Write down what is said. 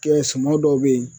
Kɛ suman dɔw be ye